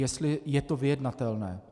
Jestli je to vyjednatelné.